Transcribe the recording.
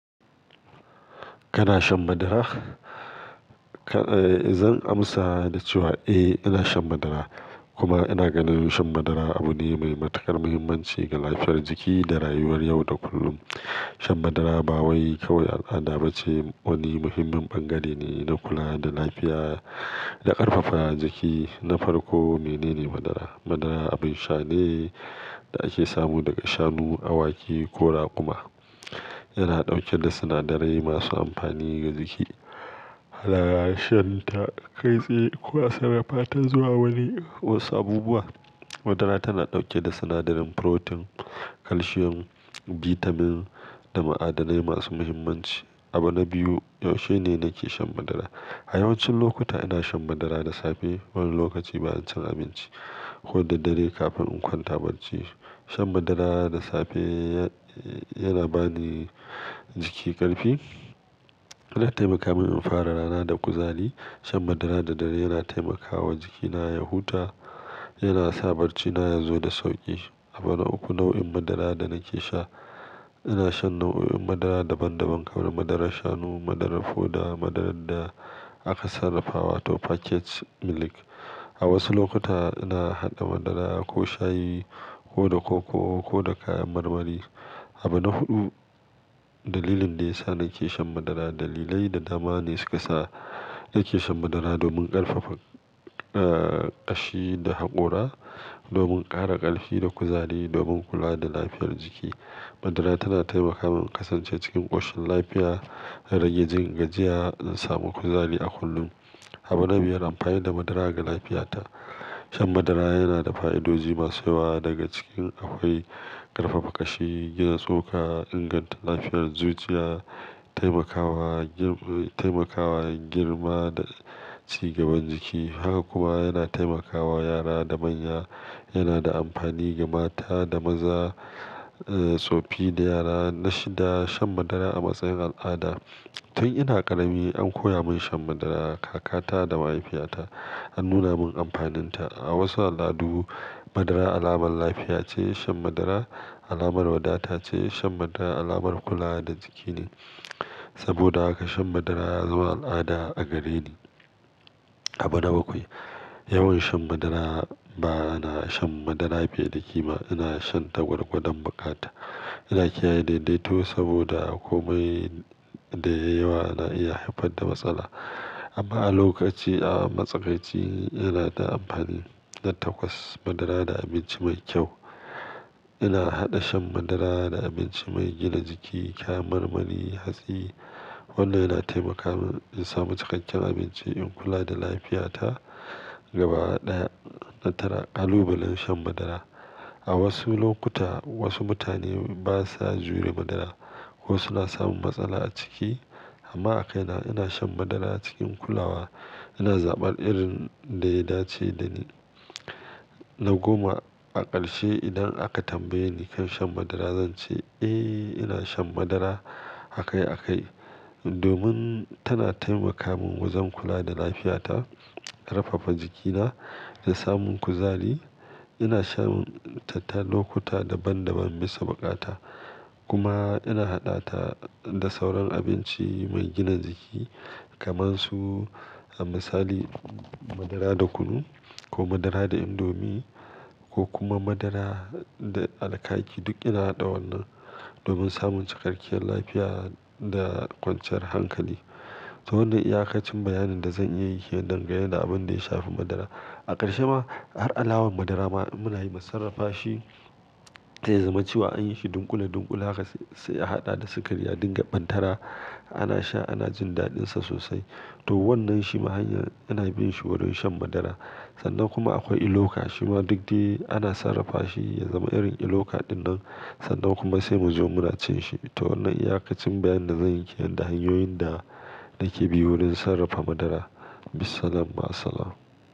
Kana shan madara? Zan amsa da cewa eh, ina shan madara. Kuma ina ganin shan madara abu ne mai matuƙar muhimmanci ga lafiyar jiki da rayuwar yau da kullum. Shan madara ba wai kawai al'ada ba ce, wani muhimmin ɓangare ne na kula da lafiya da ƙarfafa jiki. Na farko, menene madara? Madara abin sha ne da ake samu daga shanu, awaki, ko raƙuma, yana ɗauke da sinadarai masu amfani ga jiki. Madara shan ta kai tsaye ko a sarrafa ta zuwa wani wasu abubuwa. Madara tana ɗauke da sinadarin furotin, calcium, bitamin da ma'adanai masu muhimmanci. Abu na biyu, yaushe ne nake shan madara? A yawancin lokuta ina shan madara da safe wani lokaci bayan cin abinci ko da dare kafin in kwanta bacci. Shan madara da safe ya-yana ba ni jiki ƙarfi yana taimaka min in fara rana da kuzari. Shan madara da dare yana taimakawa jikina ya huta, yana sa barcina ya zo da sauƙi. Abu na uku, nau'in madara da nake sha. Ina shan nau'o'in madara daban-daban kamar madarar shanu, madarar foda, madarar da aka sarrafa wato packaged milk. A wasu lokuta ina haɗa madara ko shayi ko da koko ko da kayan marmari. Abu na huɗu, dalilin da ya sa nake shan madara. Dalilai da dama ne suka sa nake shan madara domin ƙarfafa, eh, ƙashi da haƙora, domin ƙara ƙarfi da kuzari, domin kula da lafiyar jiki. Madara tana taimaka min in kasance cikin ƙoshin lafiya da rage jin gajiya, na samu kuzari a kullum. Abu na biyar, amfani da madara ga lafiyata. Shan madara yana da fa'idoji masu yawa daga cikin akwai ƙarfafa ƙashi, gina tsoka, inganta lafiyar zuciya, taimakawa girma, taimakawa girma da ci gaban jiki. Haka kuma yana taimakawa yara da manya. Yana da amfani ga mata da maza, eh, tsofi da yara. Na shida, shan madara a matsayin al'ada. Tun ina ƙarami an koya mun shan madara. Kakata da mahaifiyata an nuna mun amfaninta. A wasu al'addu, madara alamar lafiya ce. Shan madara alamar wadata ce. Shan madara alamar kula da jiki ne. Saboda haka shan madara ya zama al'ada a gareni. Abu na bakwai, yawan shan madara. Ba na shan madara fiye da kima. Ina shan ta gwargwadon buƙata. Ina kiyaye daidaito saboda komai da yai yawa na iya haifar da matsala. Amma a lokaci, a matsakaci ina da amfani na takwas madara da abinci mai kyau. Ina haɗa shan madara da abinci mai gina jiki kayan marmari, hatsi. Wannan yana taimaka min in samu cikakken abinci, in kula da lafiyata. Gaba ɗaya, na tara, ƙalubalen shan madara. A wasu lokuta wasu mutane ba sa jure madara ko suna samun matsala a ciki. Amma a kai na, ina shan madara cikin kulawa. Ina zaɓar irin da ya dace da ni. Na goma, a ƙarshe idan aka tambaye ni kan shan madara, zan ce eh, ina shan madara a kai a kai domin tana taimaka min wajen kula da lafiyata, ƙarfafa jikina da samun kuzari. Ina shan ta lokuta daban-daban bisa buƙata. Kuma ina haɗa ta da sauran abinci mai gina jiki kamar su, A misali madara da kunu, ko madara da indomi, ko kuma madara da alƙaki. Duk ina haɗa wannan domin samun cikakkiyar lafiya da kwanciyar hankali. To wannan iyaƙacin bayanin da zan iya yi kenan dangane da abin da ya shafi madara. A ƙarshe ma, har alawar madara ma muna yi musarrafa shi zai zama cewa an yi shi dunƙule-dunƙule haka sai a haɗa da sikari a dinga ɓantara. Ana sha, ana jin daɗinsa sosai. To wannan shi ma hanyar ana bin shi wurin shan madara. Sannan kuma akwai iloka shi ma duk dai ana sarrafa shi ya zama irin iloka ɗin nan, sannan kuma sai mu zo muna cin shi. To wannan iyakacin bayanin da zan yi kenan hanyoyin da nake bi wurin sarrafa madara. Bissalam, ma'assalam.